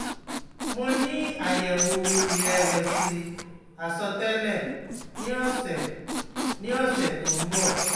Mo ni ayewo irewesi asotele ni ose ni ose to n bo